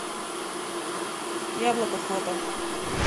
яблоко фото